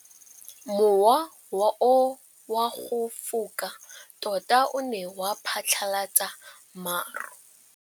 Mowa o wa go foka tota o ne wa phatlalatsa maru.